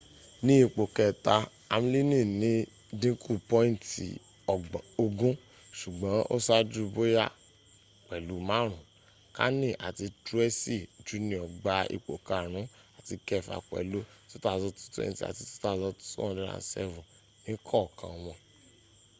ni ipo keta amlini ni dinku pointi 20 sugbon o saju boya pelu maarun kani ati truesi jr gba ipo karun ati kefa pelu 2,220 ati 2,207 ni kookan won